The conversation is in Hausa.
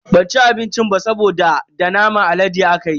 Ban ci abincin ba saboda da naman alade akayi.